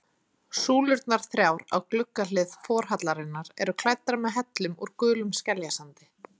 Súlurnar þrjár á gluggahlið forhallarinnar eru klæddar með hellum úr gulum skeljasandi.